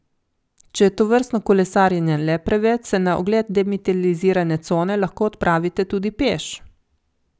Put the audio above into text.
Če je tovrstno kolesarjenje le preveč, se na ogled demilitarizirane cone lahko odpravite tudi peš.